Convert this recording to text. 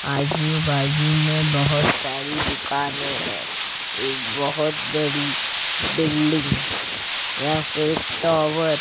आजू बाजू में बहुत सारी दुकाने है एक बहुत बड़ी बिल्डिंग या फिर टॉवर --